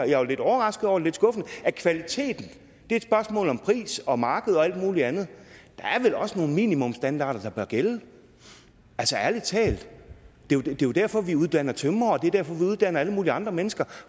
jeg var lidt overrasket over lidt skuffet at kvalitet er et spørgsmål om pris og marked og alt muligt andet der er vel også nogle minimumsstandarder der bør gælde ærlig talt det er jo derfor at vi uddanner tømrere og det er derfor at vi uddanner alle mulige andre mennesker